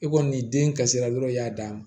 E kɔni den kasira dɔrɔn i y'a d'a ma